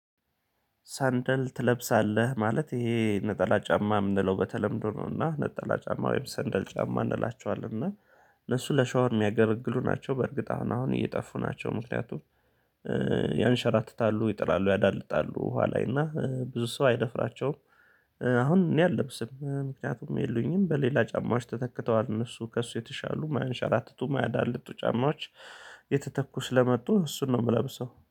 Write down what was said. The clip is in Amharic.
ሰንደል ትለብሳለህ ማለት ይሄ ነጠላ ጫማ የምንለው በተለምዶ ነውና ነጠላ ጫማ ወይም ሰንደል ጫማ እንላቸዋለን እና እነሱ ለሻወር የሚያገለግሉ ናቸው። በእርግጥ አሁን አሁን እየጠፉ ናቸው ምክንያቱም ያንሸራትታሉ፣ ይጥላሉ፣ ያዳልጣሉ ውሃ ላይ እና ብዙ ሰው አይደፍራቸውም። እነሱ ለሻወር የሚያገለግሉ ናቸው በእርግጥ አሁን አሁን እየጠፉ ናቸው ምክንያቱም ያንሸራትታሉ፣ ይጥላሉ፣ ያዳልጣሉ ውሃ ላይ እና ብዙ ሰው አይደፍራቸውም። አሁን እኔ አልለብስም ምክንያቱም የሉኝም በሌላ ጫማዎች። ተተክተዋል እነሱ ከእሱ የተሻሉ ማያንሸራትቱ፣ ማያዳልጡ ጫማዎች